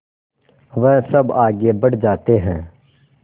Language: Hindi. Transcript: वह सब आगे बढ़ जाते हैं